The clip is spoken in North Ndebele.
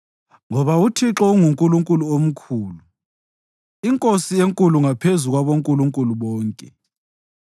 Ngoba uThixo unguNkulunkulu omkhulu, iNkosi enkulu ngaphezu kwabonkulunkulu bonke.